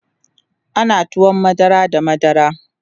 ana tuwon madara da madara